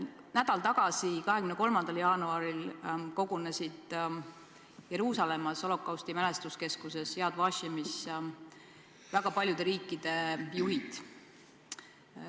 Nädal tagasi, 23. jaanuaril kogunesid Jeruusalemmas holokausti mälestuskeskuses Yad Vashemis väga paljude riikide juhid.